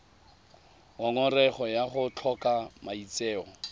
ngongorego ya go tlhoka maitseo